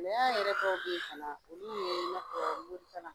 na yɛrɛ dɔw bɛ yen fana olu ye i n'a fɔ morikalan